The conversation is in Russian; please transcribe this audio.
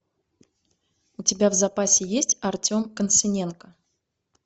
у тебя в запасе есть артем концевенко